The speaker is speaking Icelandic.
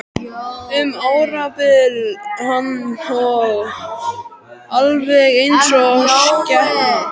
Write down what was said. Um árabil vann ég alveg eins og skepna.